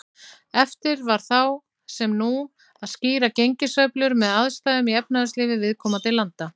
Erfitt var þá, sem nú, að skýra gengissveiflur með aðstæðum í efnahagslífi viðkomandi landa.